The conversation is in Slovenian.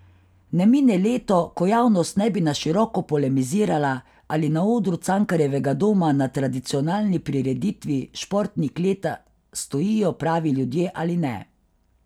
Ne mine leto, ko javnost ne bi na široko polemizirala, ali na odru Cankarjevega doma na tradicionalni prireditvi Športnik leta stojijo pravi ljudje ali ne.